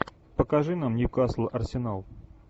покажи нам ньюкасл арсенал